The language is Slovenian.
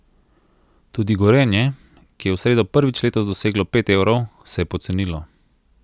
Tudi Gorenje, ki je v sredo prvič letos doseglo pet evrov, se je pocenilo.